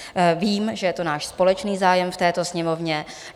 Vím, že je to náš společný zájem v této Sněmovně.